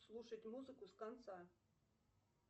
слушать музыку с конца